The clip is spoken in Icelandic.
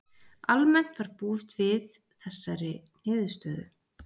Almennt var búist við þessari niðurstöðu